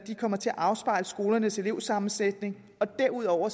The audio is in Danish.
kommer til at afspejle skolernes elevsammensætning derudover